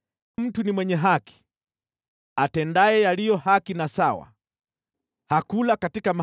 “Mtu aweza kuwa ni mwenye haki atendaye yaliyo haki na sawa.